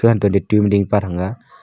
anto ma dingpa thang ga.